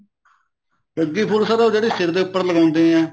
ਸੱਗੀ ਫੁੱਲ ਉਹ sir ਜਿਹੜੇ ਸਿਰ ਦੇ ਉੱਪਰ ਲਗਾਉਂਦੇ ਏ